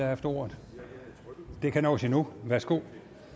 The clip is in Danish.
haft ordet det kan nås endnu værsgo